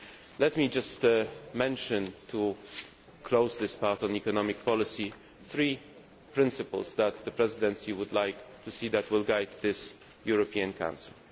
to focus on employment. Let me just mention, to close this part on economic policy, three principles that the Presidency would like to see guide